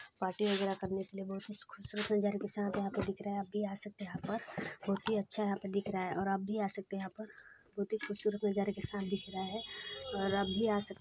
party वगेरा करने के लिए बहुत ही खूबसूरत नज़ारे के साथ यहाँ पे दिख रहा है आप भी आ सकते है बहुत ही अच्छा है यहाँ पर दिख रहा है और आप भी आ सकते है यहाँ पर बहुत ही खूबसूरत नज़ारे के साथ दिख रहा है और आप भी आ सकते--